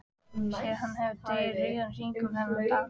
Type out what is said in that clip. Sér að hann hefur dregið rauðan hring um þennan dag.